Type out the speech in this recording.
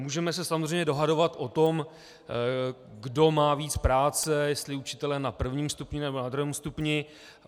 Můžeme se samozřejmě dohadovat o tom, kdo má víc práce, jestli učitelé na prvním stupni, nebo na druhém stupni.